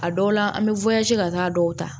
A dɔw la an bɛ ka taa dɔw ta